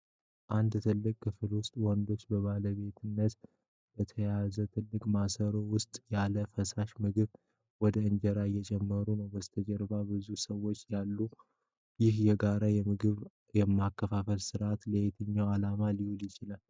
በአንድ ትልቅ ክፍል ውስጥ ወንዶች በባለቤትነት በተያዘው ትልቅ ማሰሮ ውስጥ ያለ ፈሳሽ ምግብ ወደ እንጀራ እየጨመሩ ነው። በስተጀርባ ብዙ ሰዎች አሉ። ይህ የጋራ የምግብ ማከፋፈል ሥርዓት ለየትኛው ዓላማ ሊውል ይችላል?